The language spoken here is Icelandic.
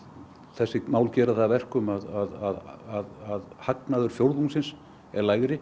þessi mál gera það að verkum að hagnaður fjórðungsins er lægri